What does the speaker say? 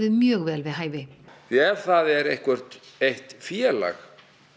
mjög vel við hæfi því ef það er eitthvert eitt félag